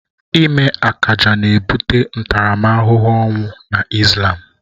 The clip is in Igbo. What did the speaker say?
Ịme akaja na ebute ntaramahụhụ ọnwụ na Islam